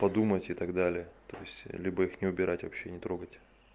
подумайте и так далее то есть либо их не убирать вообще не трогать